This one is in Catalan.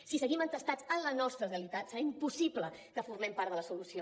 si seguim entestats en la nostra realitat serà impossible que formem part de la solució